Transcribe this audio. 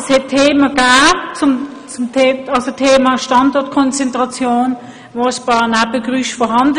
Ja, es gab Themen wie die Standortkonzentration, bei denen ein paar Nebengeräusche entstanden.